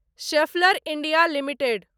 Schaeffler India limited